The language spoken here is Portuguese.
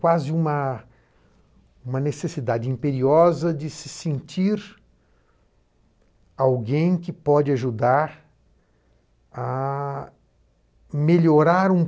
Quase uma necessidade imperiosa de se sentir alguém que pode ajudar a melhorar um